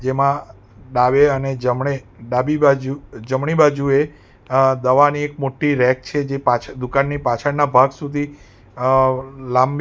જેમાં ડાવે અને જમણે ડાબી બાજુ જમણી બાજુએ આ દવાની એક મોટી રેક છે જે પાછળ દુકાનની પાછળ ના ભાગ સુધી અ લાંબી--